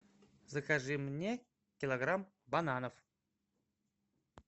закажи мне килограмм бананов